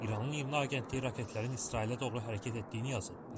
İranın İRNA agentliyi raketlərin İsrailə doğru hərəkət etdiyini yazıb.